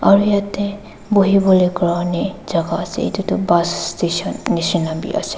aru yeti buhibole karney jaga ase itu toh bus station nishina bi ase.